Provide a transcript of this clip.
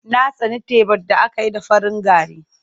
Ya tsani tebar da aka yi da farin gari.